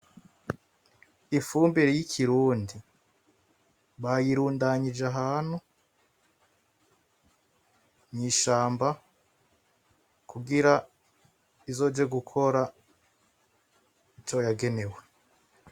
Ifumbire y'ikurundi bayirundanije ahantu mwishamba kugira izoje gukora ivyo yagenewe.